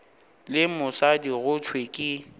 le mosadi go thwe ke